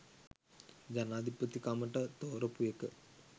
ජනාදිපති කමට තෝරපු එක.